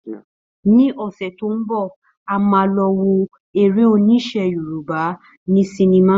Ní ọ̀sẹ̀ tó ń bọ̀, a máa lọ wo èrè oníṣe Yorùbá ní sinimá